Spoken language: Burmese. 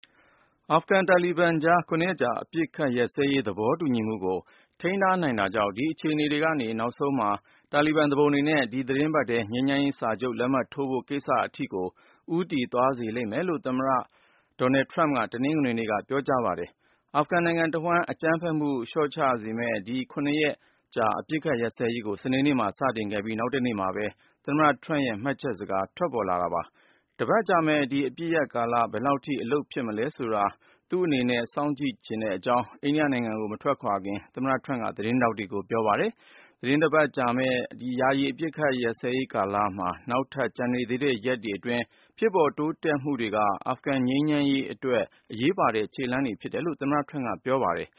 အာဖဂန်-တာလီဘန်ကြား ၇ ရက်ကြာ အပစ်ခတ်ရပ်စဲရေး သဘောတူညီမှုကို ထိန်းထားနိုင်တာကြောင့် ဒီအခြေအနေတွေက နောက်ဆုံးမှာ တာလီဘန်သူပုန်တွေနဲ့ ဒီသီတင်းပတ်ထဲ ငြိမ်းချမ်းရေးစာချုပ်ကို သူကိုယ်တိုင် လက်မှတ်ထိုးဖို့ကိစ္စအထိကို ဦးတည်သွားစေလိမ့်မယ်လို့ အမေရိကန်သမ္မတ Donald Trump က တနင်္ဂနွေနေ့မှာ ပြောကြားလိုက်ပါတယ်။ အာဖဂန်နိုင်ငံတဝှမ်း အကြမ်းဖက်မှုတွေ လျော့ကျစေမယ့် ဒီ ၇ ရက် အပစ်ရပ်စဲရေးကို စနေနေ့မှာ စတင်ခဲ့ပြီး နောက်တနေ့မှာပဲ သမ္မတ Trump ရဲ့ မှတ်ချက်စကား ထွက်ပေါ်လာတာပါ။ “တပတ်ကြာမယ့် ဒီအပစ်ရပ်ကာလ ဘယ်လောက်ထိ အလုပ်ဖြစ်မလဲဆိုတာ ကျနော် စောင့်ကြည့်ချင်ပါတယ်” လို့ အိန္ဒိယနိုင်ငံကို မထွက်ခွာခင် Trump က သတင်းထောက်တွေကို ပြောပါတယ်။ သီတင်းတပတ်ကြာမယ့် ယာယီအပစ်ရပ်ရေးကာလမှာ နောက်ထပ်ကျန်နေသေးတဲ့ ရက်တွေအတွင်း ဖြစ်ပေါ်တိုးတက်မှုတွေက အာဖဂန်ငြိမ်းချမ်းရေးအတွက် အရေးပါတဲ့ ခြေလှမ်းတွေ ဖြစ်တယ်လို့ သမ္မတ Trump က ပြောပါတယ်